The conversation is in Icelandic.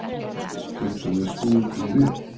Getum við snúið því við?